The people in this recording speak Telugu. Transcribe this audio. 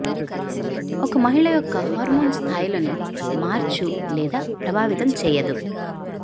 ఒక మహిళ యొక్క హార్మోన్ స్థాయిలను మార్చు లేదా ప్రభావితం చేయదు